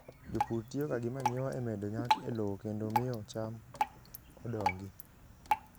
Jopur tiyoga gi manyiwa e medo nyak e lowo kendo e miyo cham odongi.